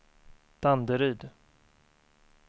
Danderyd